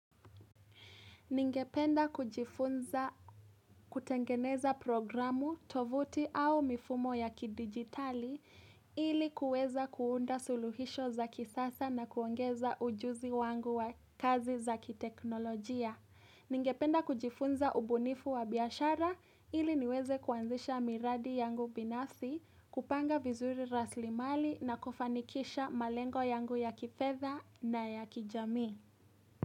Ningependa kujifunza kutengeneza programu, tovuti au mifumo ya kidigitali ili kuweza kuunda suluhisho za kisasa na kuongeza ujuzi wangu wa kazi za kiteknolojia. Ningependa kujifunza ubunifu wa biashara ili niweze kuanzisha miradi yangu binafsi, kupanga vizuri rasilimali na kufanikisha malengo yangu ya kifedha na ya kijami.